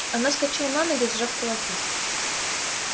она вскочила на ноги сжав кулаки